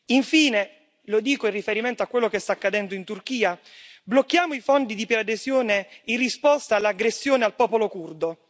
Infine, lo dico in riferimento a quello che sta accadendo in Turchia blocchiamo i fondi di preadesione in risposta all'aggressione al popolo curdo.